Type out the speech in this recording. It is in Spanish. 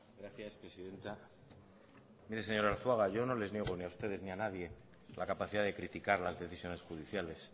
gracias presidenta mire señor arzuaga yo no les niego ni a ustedes ni a nadie la capacidad de criticar las decisiones judiciales